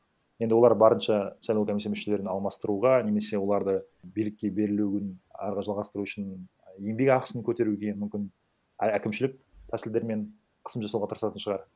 енді олар барынша сайлау комиссия мүшелерін алмастыруға немесе оларды билікке берілуін ары қарай жалғастыру үшін еңбек ақсын көтеруге мүмкін әкімшілік тәсілдермен қысым жасауға тырысатын шығар